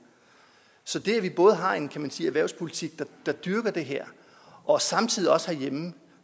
så det at vi både har en erhvervspolitik der dyrker det her og samtidig herhjemme